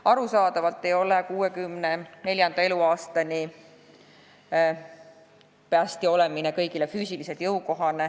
Arusaadavalt ei ole kõigile jõukohane 64. eluaastani päästja olla.